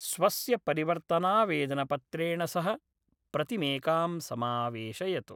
स्वस्य परिवर्तनावेदनपत्रेण सह प्रतिमेकां समावेशयतु।